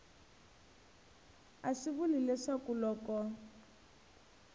a swi vuli leswaku loko